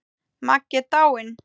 Maggi er dáinn!